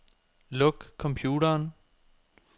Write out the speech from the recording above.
Luk computeren.